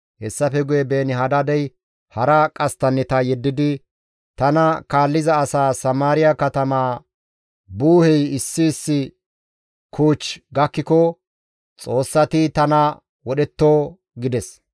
Hessafe guye Beeni-Hadaadey hara qasttanneta yeddidi, «Tana kaalliza asaa Samaariya katamaa gudullay issi issi kuuch gakkiko xoossati tana wodhetto» gides.